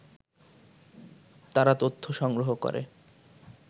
তারা তথ্য সংগ্রহ করে